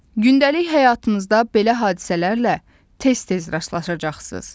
Gündəlik həyatınızda belə hadisələrlə tez-tez rastlaşacaqsınız.